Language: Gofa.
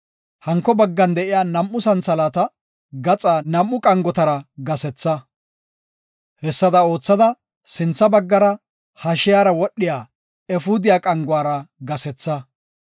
Hanko baggan de7iya nam7u santhalaata gaxa nam7u qangotara gasetha. Hessada oothada sintha baggara, hashiyara wodhiya efuudiya qanguwara gasetha.